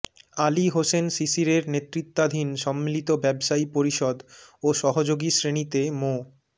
আলী হোসেন শিশিরের নেতৃত্বাধীন সম্মিলিত ব্যবসায়ী পরিষদ ও সহযোগী শ্রেণিতে মো